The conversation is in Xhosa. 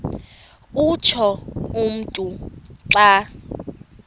utsho umntu xa